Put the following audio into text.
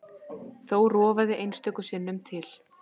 Þó rofaði einstöku sinnum til.